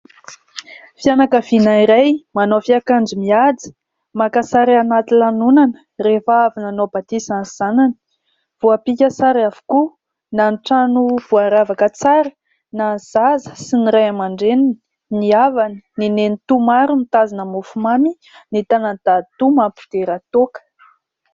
Fianakaviana iray manao fiakanjo mihaja, maka sary anaty lanonana, rehefa avy nanao batisa ny zanany. Voapika sary avokoa : na ny trano voaravaka tsara, na ny zaza sy ny ray aman-dreniny, ny havany, ny nenitoa maro mitazona mofomamy ; ny tànan'i dadatoa mampidera toaka.